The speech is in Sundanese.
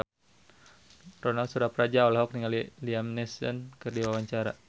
Ronal Surapradja olohok ningali Liam Neeson keur diwawancara